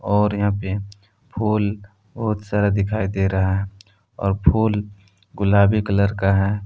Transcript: और यहां पे फूल बहुत सारा दिखाई दे रहा है और फूल गुलाबी कलर का है।